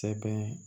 Sɛbɛn